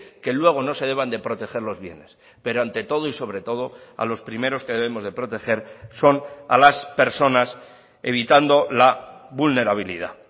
que luego no se deban de proteger los bienes pero ante todo y sobre todo a los primeros que debemos de proteger son a las personas evitando la vulnerabilidad